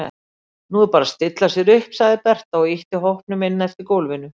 Nú er bara að stilla sér upp, sagði Berta og ýtti hópnum inn eftir gólfinu.